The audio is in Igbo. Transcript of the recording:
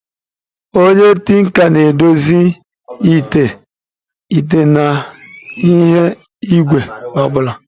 Onye tinka na-edozi ite, ite na ihe igwe obula.